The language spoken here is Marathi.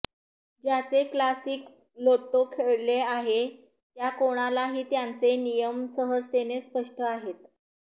ज्याचे क्लासिक लोट्टो खेळले आहे त्या कोणालाही त्यांचे नियम सहजतेने स्पष्ट आहेत